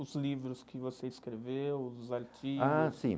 Os livros que você escreveu, os artigos... Ah, sim.